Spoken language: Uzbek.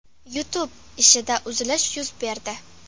YouTube ishida uzilish yuz berdi.